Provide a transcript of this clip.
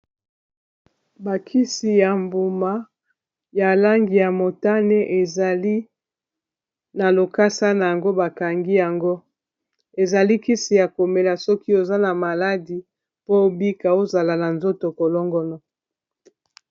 Ba kisi ya mbuma ya langi ya motane ezali na lokasa na yango bakangi yango ezali kisi ya komela soki oza na maladi po obika ozala na nzoto kolongono.